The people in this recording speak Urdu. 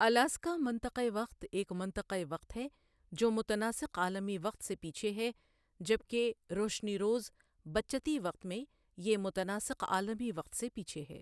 الاسکا منطقۂ وقت ایک منطقۂ وقت ہے جو متناسق عالمی وقت سے پیچھے ہے، جبکہ روشنیروز بچتی وقت میں یہ متناسق عالمی وقت سے پیچھے ہے ۔